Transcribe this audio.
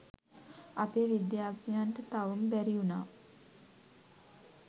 අපේ විද්‍යාඥයන්ට තවම බැරි වුනා